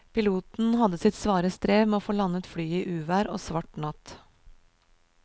Piloten hadde sitt svare strev med å få landet flyet i uvær og svart natt.